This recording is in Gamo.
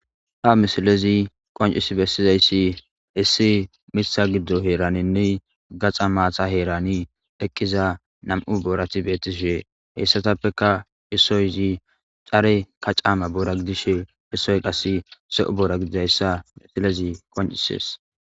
ha misilezi qoncis bessizayssi issi mitha giddo heeraninni gaxa maata heerani eqqiza nam7u boorati beettishe heessatappeka issoyzi care ka caama boora gidishe issoy qas se7u boora gidizayssa misilezi qoncisees